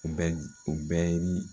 O bɛ di o bɛ ye ni